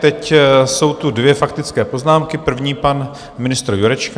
Teď jsou tu dvě faktické poznámky - první pan ministr Jurečka.